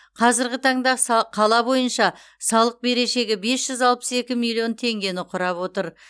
қазіргі таңда са қала бойынша салық берешегі бес жүз алпыс екі миллион теңгені құрап отыр